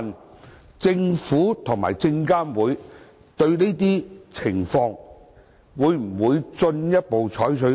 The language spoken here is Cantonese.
主席，就這個問題，證監會與中國證券監督管理委員會一直保持溝通。